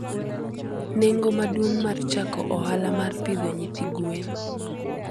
Nengo maduong' mar chako ohala mar pidho nyithi gwen.